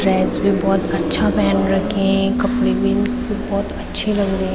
Dress भी बहोत अच्छा पहन रखी है कपड़े भी इनके उपर बहोत अच्छे लग रहे हैं।